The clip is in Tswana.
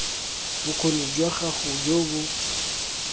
bokgoni jwa gago jo bo